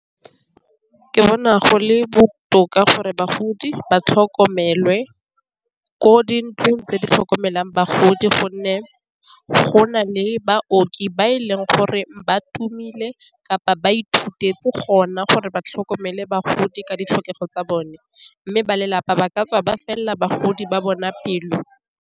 Ke bona go le botoka gore bagodi ba tlhokomelwe ko dintlong tse di tlhokomelang bagodi, gonne go na le baoki ba e leng gore ba tumile kapa ba ithuteng gona gore ba tlhokomele bagodi ka ditlhokego tsa bone, mme ba lelapa ba ka tswa ba felela bagodi ba bona pelo.